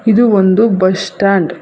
ಇದು ಒಂದು bus stand .